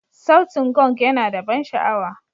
Sautin Gong yana da ban sha'awa.